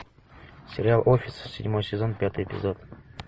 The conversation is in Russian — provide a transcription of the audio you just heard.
сериал офис седьмой сезон пятый эпизод